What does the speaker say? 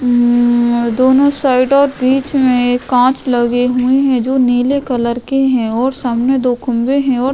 हम् दोनों साइड और बीच मैं एक कांच लगे हुए हैं जो नीले कलर के हैं और सामने दो खंबे हैं और --